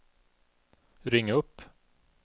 ring upp